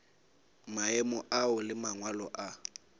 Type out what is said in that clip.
maemo ao le mangwalo a